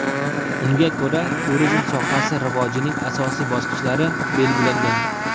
Unga ko‘ra turizm sohasi rivojining asosiy bosqichlari belgilangan.